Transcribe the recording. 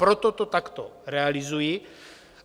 Proto to takto realizuji.